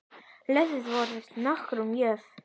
Liðin voru þá nokkuð jöfn.